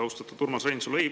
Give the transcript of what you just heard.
Austatud Urmas Reinsalu!